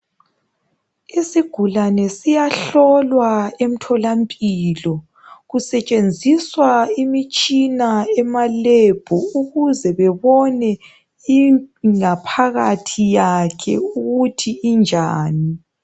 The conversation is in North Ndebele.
Isigulane siyahlolwa emtholampilo kusetshenziswa imitshina emalebhu ukuze bebone ingaphakathi yakhe ukuthi injani.